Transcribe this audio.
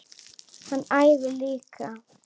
Hann æfir líka.